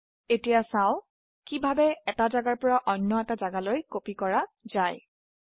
এতিয়া চাও কিভাবে এটা জাগা পৰা অন্য এটা জাগালৈ ফাইল কপি বা প্ৰতিলিপি কৰা যায়